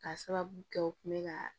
Ka sababu kɛ u kun bɛ ka